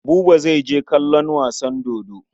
Buba zai je kallon wasan dodo.